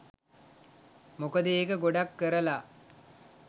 මොකද ඒක ගොඩක්කරලා